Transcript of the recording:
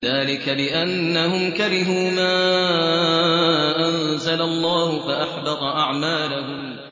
ذَٰلِكَ بِأَنَّهُمْ كَرِهُوا مَا أَنزَلَ اللَّهُ فَأَحْبَطَ أَعْمَالَهُمْ